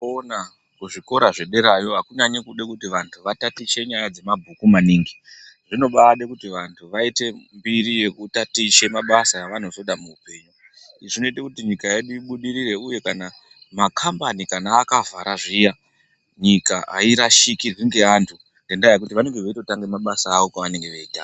Kona ku zvikora zve derayo akunyanyi kude kuti vantu vatatiche nyaya dze mabhuku maningi zvino baide kuti vantu vaite mbiri yeku tatiche mabasa ava nozoda mu hupenyu izvi zvinoita kuti nyika yedu ibudirire uye kana makambani akavhara zviya nyika ayi rashikirwi nge antu ngenda yekuti vanenge veito tanga mabasa avo kwavange veitanga.